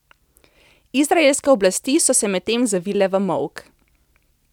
Izraelske oblasti so se medtem zavile v molk.